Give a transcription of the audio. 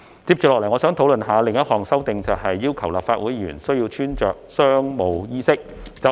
接着我想討論另—項修訂，就是要求立法會議員須穿着商務衣飾。